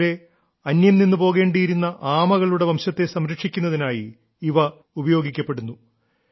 അസമിലെ അന്യംനിന്നു പോകേണ്ടിയിരുന്ന ആമകളുടെ വംശത്തെ സംരക്ഷിക്കുന്നതിനായി ഇവ ഉപയോഗിക്കപ്പെടുന്നു